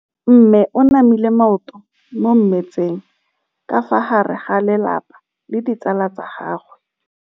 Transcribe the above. Mme o namile maoto mo mmetseng ka fa gare ga lelapa le ditsala tsa gagwe.